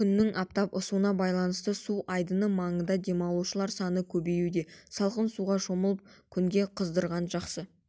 күннің аптап ысуына байланысты су айдыны маңында демалушылар саны көбеюде салқын суға шомылып күнге қыздырынған жақсы